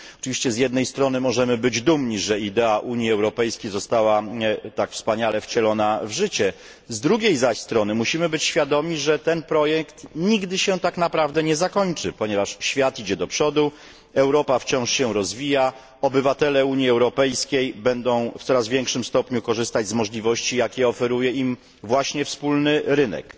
Oczywiście z jednej strony możemy być dumni, że idea Unii Europejskiej została tak wspaniale wcielona w życie, z drugiej jednak strony musimy być świadomi, że projekt ten nigdy tak naprawdę nie zakończy się, ponieważ świat idzie do przodu, Europa wciąż się rozwija, obywatele Unii Europejskiej będą w coraz większym stopniu korzystać z możliwości, jakie oferuje im właśnie wspólny rynek.